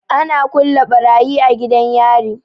Ana kulle barayi a gidan yari.